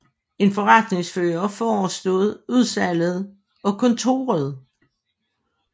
En forretningsfører forestod udsalget og kontoret